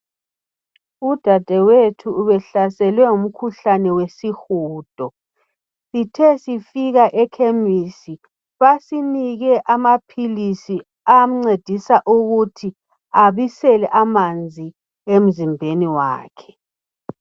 Udadewethu ubehlaselwe ngumkhuhlane wesihudo. Sithe sifika ekhemesi basinike amaphilisi amcedisa ukuthi abisele amanzi emzimbeni wakhe.